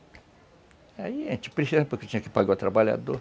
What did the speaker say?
Aí a gente precisava, porque tinha que pagar o trabalhador.